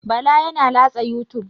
Bala yana latsa youtube.